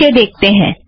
नीचे देखते हैं